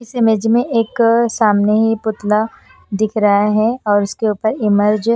इस इमेज में एक सामने ही पुतला दिख रहा हैऔर उसके ऊपर इमर्ज ।